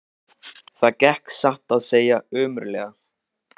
Það gekk satt að segja ömurlega.